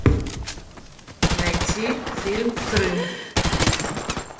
найти фильм крым